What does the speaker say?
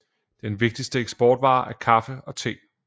Den vigtigste eksportvare er kaffe og te